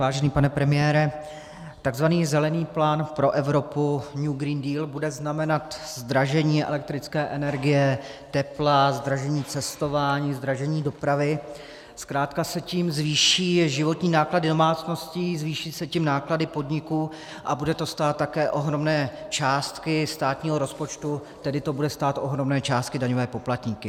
Vážený pane premiére, takzvaný Zelený plán pro Evropu, New Green Deal, bude znamenat zdražení elektrické energie, tepla, zdražení cestování, zdražení dopravy, zkrátka se tím zvýší životní náklady domácností, zvýší se tím náklady podniků a bude to stát také ohromné částky státního rozpočtu, tedy to bude stát ohromné částky daňové poplatníky.